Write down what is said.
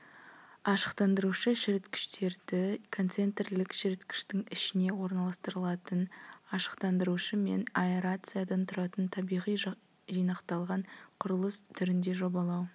ашықтандырушы-шіріткіштерді концентрлік шіріткіштің ішіне орналастырылатын ашықтандырушы мен аэрациядан тұратын табиғи жинақталған құрылыс түрінде жобалау